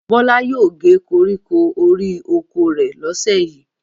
Bọ́lá yóò gé koríko orí oko rẹ̀ lọ́sẹ̀ yìí.